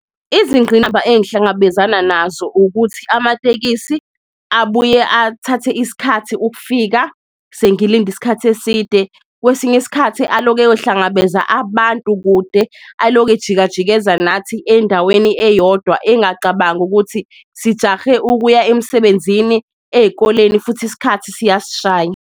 Izingqinamba engihlangabezana nazo ukuthi amatekisi abuye athathe isikhathi ukufika sengilinde isikhathi eside, kwesinye isikhathi aloke eyohlangabeza abantu kude. Aloku ejikajikeza nathi endaweni eyodwa engacabangi ukuthi sijahe ukuya emsebenzini, ey'koleni futhi isikhathi siyasishaya.